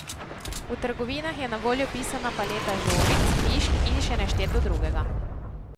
V trgovinah je na voljo pisana paleta žogic, mišk in še nešteto drugega.